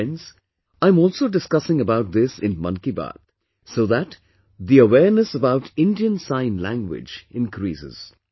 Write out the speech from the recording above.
Friends, I am also discussing about this in 'Mann Ki Baat' so that the awareness about Indian Sign Language increases